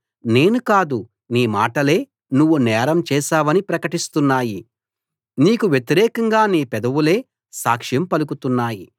నేను కాదు నీ మాటలే నువ్వు నేరం చేశావని ప్రకటిస్తున్నాయి నీకు వ్యతిరేకంగా నీ పెదవులే సాక్ష్యం పలుకుతున్నాయి